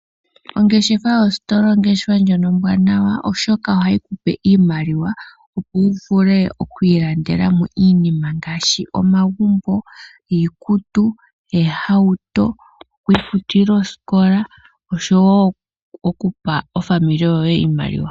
Ongeshefa yositola oyo ongeshefa ndjono ombwanawa oshoka oha yi kupe iimaliwa opo wu vule okwiilandela mo iinima ngaashi omagumbo, iikutu, eehauto, okwiifutila eesikola osho wo okupa ofamili yoye iimaliwa.